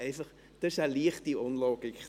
Darin liegt eine leichte Unlogik.